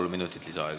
Kolm minutit lisaaega.